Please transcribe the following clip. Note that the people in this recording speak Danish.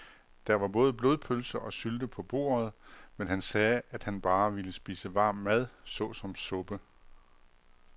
Der var både blodpølse og sylte på bordet, men han sagde, at han bare ville spise varm mad såsom suppe.